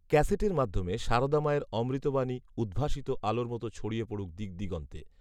ক্যাসেটের মাধ্যমে সারদামায়ের অমৃতবাণী, উদ্ভাসিত আলোর মতো ছড়িয়ে পডুক দিকদিগন্তে